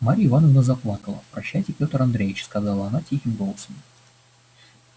марья ивановна заплакала прощайте пётр андреич сказала она тихим голосом